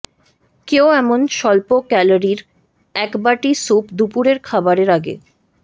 কেউ এমন স্বল্প ক্যালোরির একবাটি স্যুপ দুপুরের খাবারের আগে